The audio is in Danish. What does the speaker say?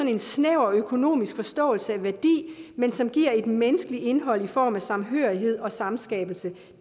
en snæver økonomisk forståelse af værdi men som giver et menneskeligt indhold i form af samhørighed og samskabelse